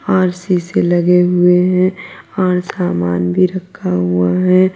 और शीशे लगे हुए हैं और सामान भी रखा हुआ है।